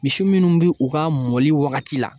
Misi minnu bɛ u ka mɔli wagati la